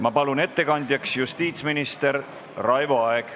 Ma palun ettekandjaks justiitsminister Raivo Aegi.